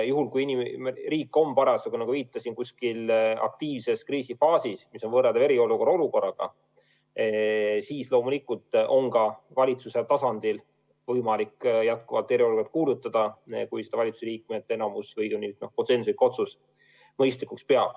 Juhul kui riik on parasjagu, nagu viitasin, aktiivses kriisifaasis, mis on võrreldav eriolukorraga, siis loomulikult on valitsuse tasandil võimalik eriolukord välja kuulutada, kui seda enamik valitsuse liikmeid mõistlikuks peab või tehakse konsensuslik otsus.